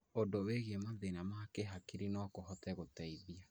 ũndũ wĩgiĩ mathĩna ma kĩhakiri no kũhote gũteithia